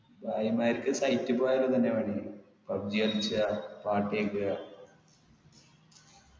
ഭായിമാർക്ക് site പോയാൽ ഇതെന്നയാ പണി pubg കളിച്ച്ആ പാട്ട് കേക്ക്ആ